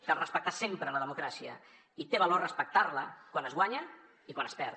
cal respectar sempre la democràcia i té valor respectar la quan es guanya i quan es perd